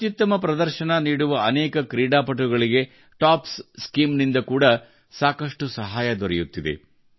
ಅತ್ಯುತ್ತಮ ಪ್ರದರ್ಶನ ನೀಡುವ ಅನೇಕ ಕ್ರೀಡಾಪಟುಗಳಿಗೆ ಟಾಪ್ಸ್ ಸ್ಕೀಮ್ ನಿಂದ ಕೂಡಾ ಸಾಕಷ್ಟು ಸಹಾಯ ದೊರೆಯುತ್ತಿದೆ